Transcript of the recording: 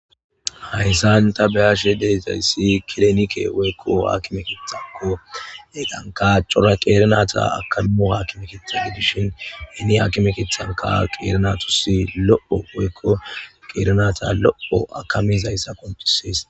Hayssan ta be'ashe de'izayssi kilinike woykko aakime keeththako. Hegankka cora qeeri nayta akkamo aakime keeththa gidishin hini aakime keeththankka qeeri naatus lo'o woykko qeeri naata lo'o akkamizayssa qonccises.